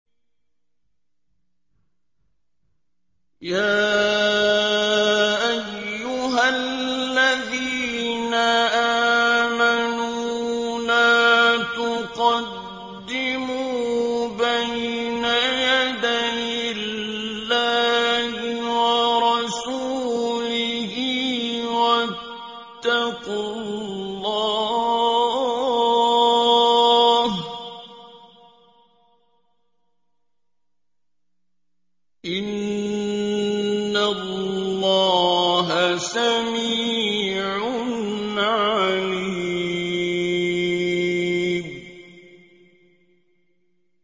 يَا أَيُّهَا الَّذِينَ آمَنُوا لَا تُقَدِّمُوا بَيْنَ يَدَيِ اللَّهِ وَرَسُولِهِ ۖ وَاتَّقُوا اللَّهَ ۚ إِنَّ اللَّهَ سَمِيعٌ عَلِيمٌ